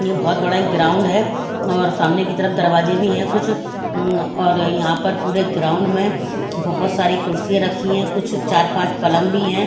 यह बहुत बड़ा एक ग्राउंड है और सामने की तरफ दरवाजे भी हैं कुछ उम्म और यहां पर पूरे ग्राउंड में बहुत सारी कुर्सियां रखी हैं कुछ चार पांच पलंग भी हैं।